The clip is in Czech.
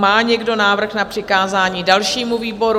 Má někdo návrh na přikázání dalšímu výboru?